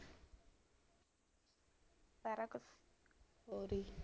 ਸਾਰਾ ਕੁਛ